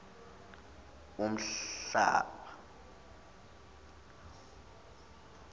unhlaba